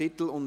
Ablehnung